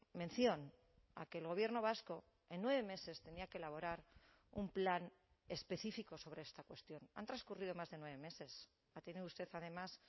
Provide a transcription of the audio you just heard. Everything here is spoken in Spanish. mención a que el gobierno vasco en nueve meses tenía que elaborar un plan específico sobre esta cuestión han transcurrido más de nueve meses ha tenido usted además